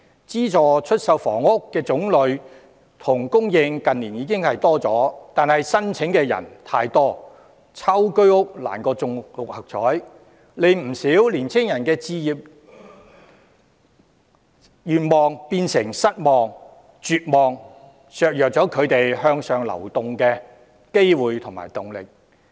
資助出售房屋的種類及供應近年已有增加，但申請人太多，抽中居屋難過中六合彩，令不少人的置業願望變成失望、絕望，削弱了他們向上流動的機會和動力。